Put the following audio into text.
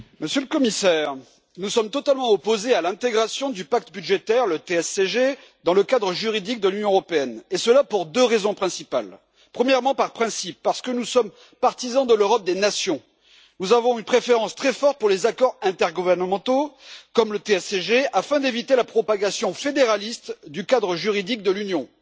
Monsieur le Président, Monsieur le Commissaire, nous sommes totalement opposés à l'intégration du pacte budgétaire, le TSCG, dans le cadre juridique de l'Union européenne, et ce pour deux raisons principales. Premièrement, par principe, parce que nous sommes partisans de l'Europe des nations, nous avons une nette préférence pour les accords intergouvernementaux, comme le TSCG, et ce afin d'éviter la propagation fédéraliste du cadre juridique de l'Union.